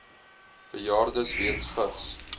bejaardes weens vigs